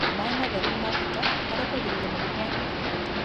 Maĩ matheru nĩ ma bata harĩ kũgirĩrĩria mũrimũ wa kũharwo gatema